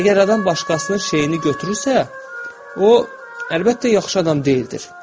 Əgər adam başqasının şeyini götürürsə, o, əlbəttə, yaxşı adam deyildir.